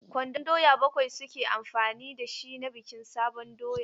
Ƙwandon doya bakwai su ke amfani da shi na bikin sabon doya.